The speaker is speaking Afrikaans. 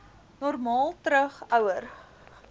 normaal terug ouer